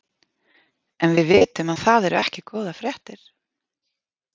En við vitum að það eru ekki góðar fréttir?